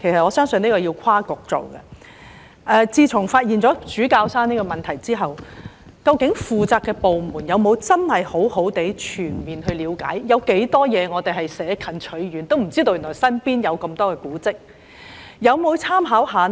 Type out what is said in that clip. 我想問局長，自從發現主教山配水庫後，究竟負責的部門有否認真作全面了解，究竟我們有多少古蹟是捨近取遠，不知道原來身邊就有這麼多古蹟的呢？